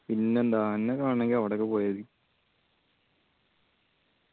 പിന്നെന്താ ആനനെ കാണണെങ്കി അവടൊക്കെ പോയാ മതി